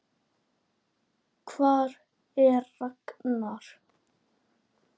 Hvar er Ragnar?